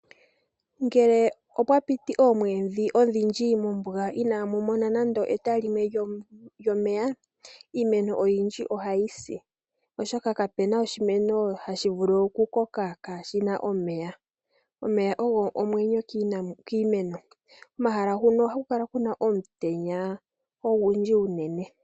Ngele opwa piti oomwedhi odhindji mombuga inaamu mona nande eta limwe lyomeya iimeno oyindji ohayi si , oshoka kapuna oshimeno hashi vulu okukoka kaashina omeya. Omeya ogo omwenyo kiimeno. Komahala huno ohaku kala kuna omutenya ogundji uunene.